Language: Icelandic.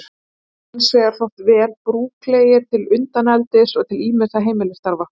Þeir hafa hins vegar þótt vel brúklegir til undaneldis og til ýmissa heimilisstarfa.